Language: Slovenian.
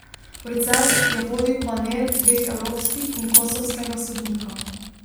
Proces je vodil panel dveh evropskih in kosovskega sodnika.